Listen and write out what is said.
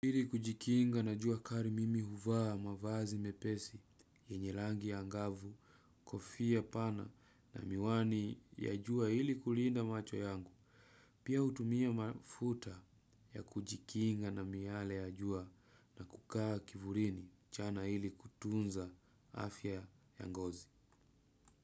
Ili kujikinga na jua kali mimi huvaa mavazi mepesi, yenye rangi ya ngavu, kofia pana na miwani ya jua iili kulinda macho yangu, pia hutumia mafuta ya kujikinga na miale ya jua na kukaa kivulini mchana ili kutunza afya ya ngozi.